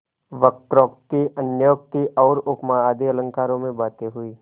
वक्रोक्ति अन्योक्ति और उपमा आदि अलंकारों में बातें हुईं